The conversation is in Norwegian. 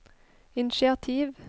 initiativ